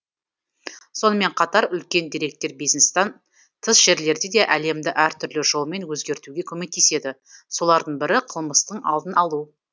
сонымен қатар үлкен деректер бизнестан тыс жерлерде де әлемді әртүрлі жолмен өзгертуге көмектеседі солардың бірі қылмыстың алдын алу